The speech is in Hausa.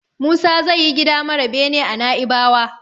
Musa zai yi gida mara bene a Naibawa.